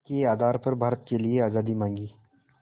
के आधार पर भारत के लिए आज़ादी मांगी